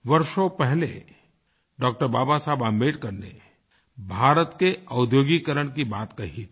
वर्षों पहले डॉ० बाबा साहब आम्बेडकर ने भारत के औद्योगिकीकरण की बात कही थी